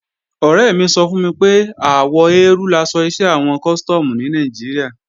Ọ̀rẹ́ mi sọ fún mi pé àwọ eérú laṣọ iṣẹ́ àwọn Custom ní Nàìjíríà